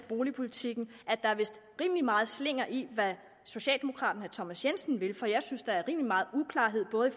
boligpolitik at der vist er rimelig meget slinger i hvad socialdemokraten herre thomas jensen vil for jeg synes der er rimelig meget uklarhed både